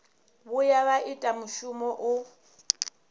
vhuya vha ita mushumo u